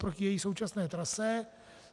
Proti její současné trase.